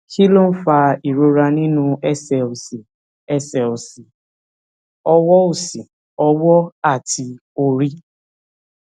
kí ló ń fa ìrora nínú ẹsè òsì ẹsè òsì ọwọ òsì ọwọ àti orí